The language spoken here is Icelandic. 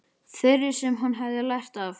Þeirri sem hann hefði lært af.